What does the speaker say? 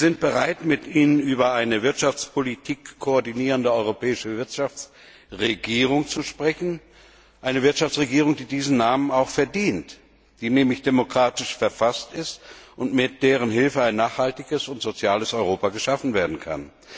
Wir sind bereit, mit Ihnen über eine koordinierende europäische Wirtschaftsregierung zu sprechen, eine Wirtschaftsregierung, die diesen Namen auch verdient, die nämlich demokratisch verfasst ist und mit deren Hilfe ein nachhaltiges und soziales Europa geschaffen werden kann.